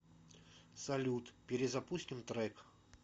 салют перезапустим трек